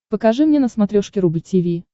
покажи мне на смотрешке рубль ти ви